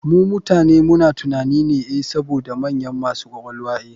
Mu mutane muna tunanin e saboda mu manyan masu ƙwaƙwalwa e.